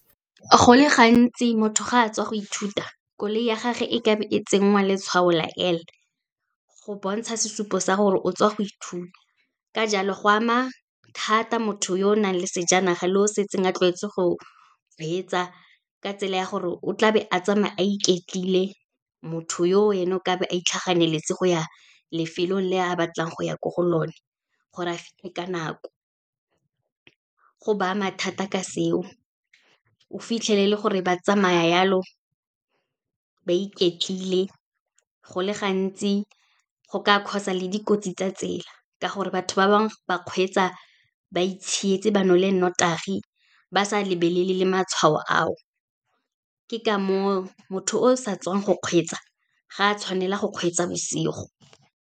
Go le gantsi motho ga a tswa go ithuta, koloi ya gage e ka be e tsenngwa letshwao la L, go bontsha sesupo sa gore o tswa go ithuta. Ka jalo, go ama thata motho yo nang le sejanaga le o setseng a tlwaetswe go kgwetsa, ka tsela ya gore o tlabe a tsamaya a iketlile, motho yo ena o ka be a itlhaganetse go ya lefelong le a batlang go ya ko go lone, gore a fitlhe ka nako. Go ba mathata ka seo, o fitlhelele gore ba tsamaya yalo, ba iketlile go le gantsi go ka cause-a le dikotsi tsa tsela, ka gore batho ba bangwe ba kgweetsa ba itshietse, ba nole notagi, ba sa lebelele le matshwao ao. Ke ka moo motho o sa tswang go kgweetsa, ga a tshwanela go kgweetsa bosigo.